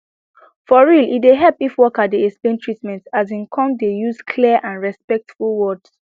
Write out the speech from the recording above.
for real e dey help if worker dey explain treatment asin come dey use clear and and respectful words